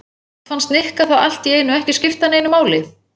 Samt fannst Nikka það allt í einu ekki skipta neinu máli.